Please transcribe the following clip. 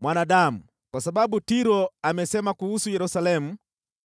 “Mwanadamu, kwa sababu Tiro amesema kuhusu Yerusalemu,